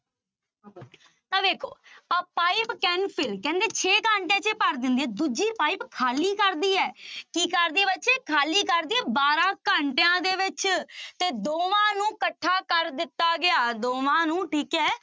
ਤਾਂ ਵੇਖੋ a pipe can fill ਕਹਿੰਦੇ ਛੇ ਘੰਟਿਆਂ ਚ ਭਰ ਦਿੰਦੀ ਹੈ ਦੂਜੀ ਪਾਇਪ ਖਾਲੀ ਕਰਦੀ ਹੈ ਕੀ ਕਰਦੀ ਹੈ ਬੱਚੇ ਖਾਲੀ ਕਰਦੀ ਹੈ ਬਾਰਾਂ ਘੰਟਿਆਂ ਦੇ ਵਿੱਚ ਤੇ ਦੋਵਾਂ ਨੂੰ ਇਕੱਠਾ ਕਰ ਦਿੱਤਾ ਗਿਆ ਦੋਵਾਂ ਨੂੰ ਠੀਕ ਹੈ